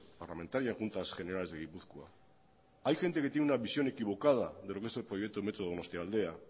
parlamentaria en juntas generales de gipuzkoa hay gente que tiene una visión equivocada de lo que es el proyecto de metro donostialdea